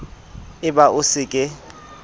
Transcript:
e ba o se ke